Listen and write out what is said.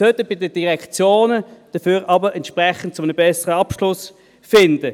Sie sollten dafür aber in der Informatik bei den Direktionen zu einem entsprechend besseren Abschluss führen.